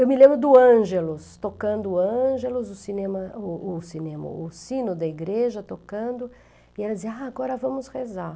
Eu me lembro do Ângelos, tocando o Ângelos, o cinema o o cinema, o sino da igreja tocando, e ela dizia, agora vamos rezar.